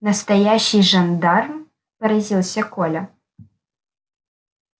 настоящий жандарм поразился коля